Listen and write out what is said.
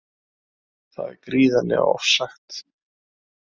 Það er gríðarlega ofsagt